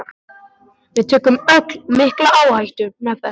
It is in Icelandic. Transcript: Við tökum öll mikla áhættu með þessu.